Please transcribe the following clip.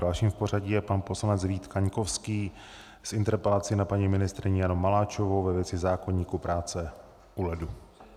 Dalším v pořadí je pan poslanec Vít Kaňkovský s interpelací na paní ministryni Janu Maláčovou ve věci zákoníku práce u ledu.